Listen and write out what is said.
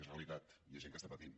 és realitat i és gent que està patint